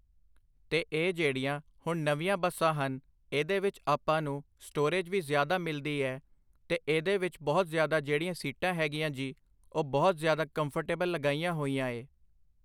ਤੇ ਇਹ ਜਿਹੜੀਆਂ ਹੁਣ ਨਵੀਆਂ ਬੱਸਾਂ ਹਨ ਏਦੇ ਵਿੱਚ ਆਪਾਂ ਨੂੰ ਸਟੋਰੇਜ ਵੀ ਜ਼ਿਆਦਾ ਮਿਲਦੀ ਏਦੇ ਇਹਦੇ ਵਿੱਚ ਬਹੁਤ ਜ਼ਿਆਦਾ ਜਿਹੜੀਆਂ ਸੀਟਾਂ ਹੈਗੀਆਂ ਜੀ ਉਹ ਬਹੁਤ ਜ਼ਿਆਦਾ ਕੰਫਰਟੇਬਲ ਲਗਾਈਆਂ ਹੋਈਆਂ ਏ